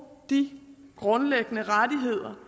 de grundlæggende rettigheder